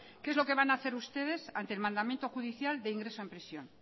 qué es lo que van a hacer ustedes ante el mandamiento judicial de ingreso en prisión